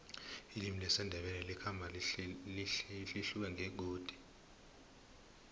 ilimi lesindebele likhamba lihluke ngengodi